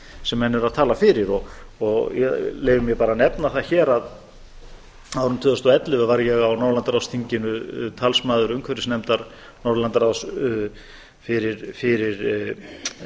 sem menn eru að tala fyrir og ég leyfi mér bara að nefna það hér að á árinu tvö þúsund og ellefu var ég á norðurlandaráðsþinginu talsmaður umhverfismálanefndar norðurlandaráðs fyrir